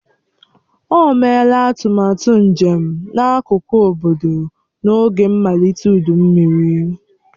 O meela atụmatụ njem n'akụkụ obodo n'oge mmalite ụdụ mmiri.